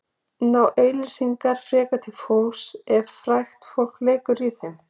Ná auglýsingar frekar til fólks ef frægt fólk leikur í þeim?